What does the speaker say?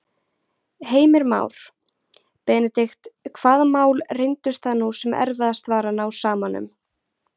Heimir Már: Benedikt hvaða mál reyndust það nú sem erfiðast var að ná saman um?